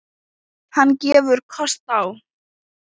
Hann gefur kost á